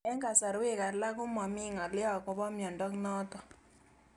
Eng'kasarwek alak ko mami ng'alyo akopo miondo notok